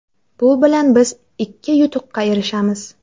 Bu bilan biz ikki yutuqqa erishamiz.